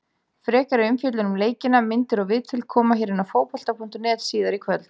Frekari umfjöllun um leikina, myndir og viðtöl, koma hér á Fótbolta.net síðar í kvöld.